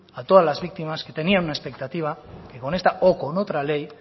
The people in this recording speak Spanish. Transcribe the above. a todas las victimas que tenían un expectativa que con esta o con otra ley